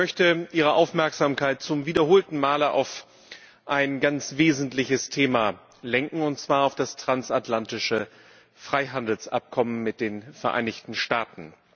Ich möchte Ihre Aufmerksamkeit zum wiederholten Male auf ein ganz wesentliches Thema lenken, und zwar auf das transatlantische Freihandelsabkommen mit den Vereinigten Staaten.